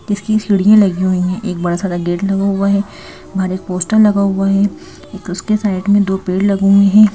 इसकी सीढ़ियां लगी हुई हैं एक बड़ा सा गेट हुआ है बाहर एक पोस्टर लगा हुआ है उसके साइड में दो पेड़ लगे हुए हैं।